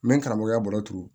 N bɛ karamɔgɔya balo turu